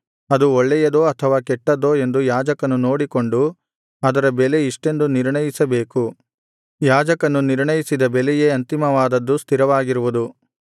ಅದು ಒಳ್ಳೆಯದೋ ಅಥವಾ ಕೆಟ್ಟದ್ದೋ ಎಂದು ಯಾಜಕನು ನೋಡಿಕೊಂಡು ಅದರ ಬೆಲೆ ಇಷ್ಟೆಂದು ನಿರ್ಣಯಿಸಬೇಕು ಯಾಜಕನು ನಿರ್ಣಯಿಸಿದ ಬೆಲೆಯೇ ಅಂತಿಮವಾದದ್ದು ಸ್ಥಿರವಾಗಿರುವುದು